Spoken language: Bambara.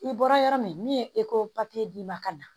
I bɔra yɔrɔ min min ye d'i ma ka na